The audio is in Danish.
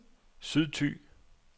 Sydthy